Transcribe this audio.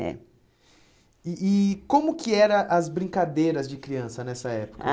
É. E e como que eram as brincadeiras de criança nessa época? Ah